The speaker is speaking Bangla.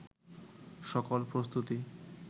সকল প্রস্তুতি